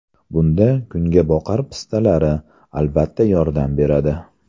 Bunda kungaboqar pistalari, albatta, yordam beradi.